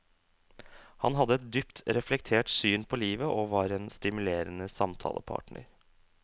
Han hadde et dypt reflektert syn på livet og var en stimulerende samtalepartner.